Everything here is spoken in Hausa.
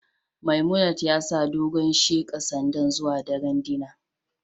Memunant ya sa dogon sheqa Sander zuwa daren dinner